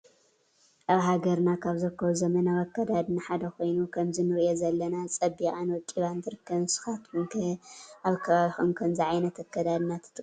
አብ ሃገርና ካብ ዝርከቡ ዘመናዊ አክዳድና ሓደ ኮይኑ ከምዚ እንሪአ ዘለና ፀቢቃን ወቂባን ትርከብ ንስካትኩም ከ አብ ከባቢኩም ከምዚ ዓይነት አክዳድና ትጥቀሙ ዶ?